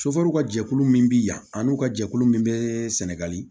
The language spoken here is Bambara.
ka jɛkulu min bi yan an' u ka jɛkulu min bɛ sɛnɛgali